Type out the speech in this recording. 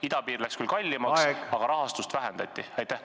Idapiir osutus kallimaks, aga rahastust vähendati?